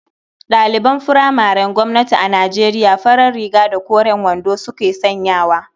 Ɗaliban furamaren gwamnati a Nijeriya farar riga da koren wando suke sanyawa.